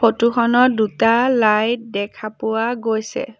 Photo খনত দুটা light দেখা পোৱা গৈছে।